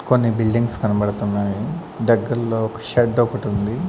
కొన్ని బిల్డింగ్స్ కనబడుతున్నాయి దగ్గర్లో ఒక షెడ్ ఒకటి ఉంది.